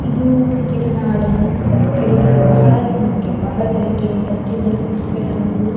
ಇದು ಕ್ರಿಕೆಟ್ ಅನ್ನ ಆಡಲು ಕೆಲವರಿಗೆ ಬಹಳ ಜನಕ್ಕೆ ಬಹಳ ಜನಕ್ಕೆ ಪ್ರತಿಯೊಬ್ಬರೂ ಕ್ರಿಕೆಟ್ ಅನ್ನ ಆಡಲು --